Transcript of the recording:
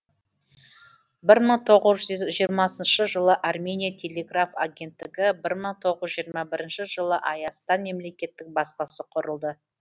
бір мың тоғыз жүз жиырмасыншы жылы армения телеграф агенттігі бір мың тоғыз жүз жиырма бірінші жылы айастан мемлекеттік баспасы құрылды